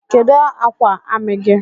Kedu akwa ami gi?